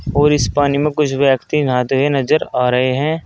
और इस पानी में कुछ व्यक्ति नहाते हुए नजर आ रहे हैं।